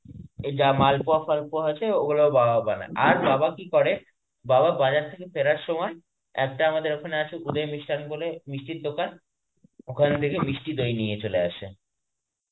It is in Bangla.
এই যা মালপোয়া ফালপয়া আছে ওগুলো বাবা বানায় আর বাবা কি করে বাবা বাজার থেকে ফেরার সময় একটা আমাদের ওখানে আছে মিস্ঠান বলে মিষ্টির দোকান ঐখান থেকে মিষ্টি দই নিয়ে চলে আসে.